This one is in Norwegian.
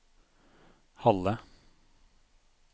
Halle